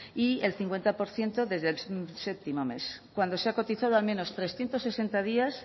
y el cincuenta por ciento desde el séptimo mes cuando se ha cotizado al menos trescientos sesenta días